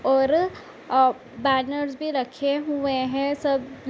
और बैनर्स भी रखे हुए हैं सब --